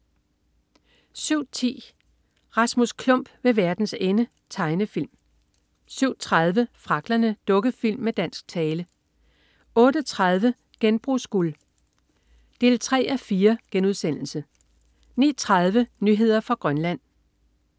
07.10 Rasmus Klump ved verdens ende. Tegnefilm 07.30 Fragglerne. Dukkefilm med dansk tale 08.30 Genbrugsguld 3:4* 09.30 Nyheder fra Grønland